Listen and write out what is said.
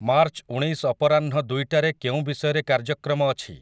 March ଊଣେଈଶ ଅପରାହ୍ନ ଦୁଇଟାରେ କେଉଁ ବିଷୟରେ କାର୍ଯ୍ୟକ୍ରମ ଅଛି?